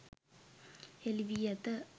හෙළි වී ඇත.